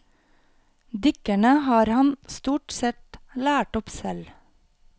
Dykkerne har han stort sett lært opp selv.